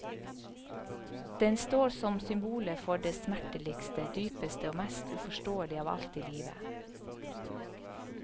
Den står som symbolet for det smerteligste, dypeste og mest uforståelige av alt i livet.